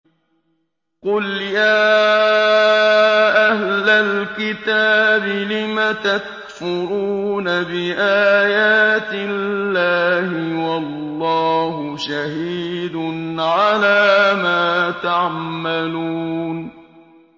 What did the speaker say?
قُلْ يَا أَهْلَ الْكِتَابِ لِمَ تَكْفُرُونَ بِآيَاتِ اللَّهِ وَاللَّهُ شَهِيدٌ عَلَىٰ مَا تَعْمَلُونَ